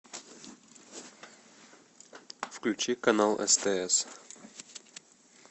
включи канал стс